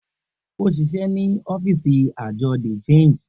O ṣiṣẹ ni ọfiisi Ajọ de Change.